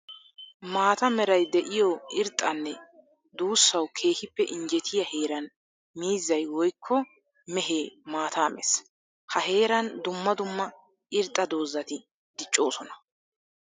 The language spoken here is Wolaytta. Maata meray de'iyo irxxanne duussawu keehippe injjettiya heeran miizzay woykko mehe maata mees. Ha heeran dumma dumma irxxa doozatti diccossonna.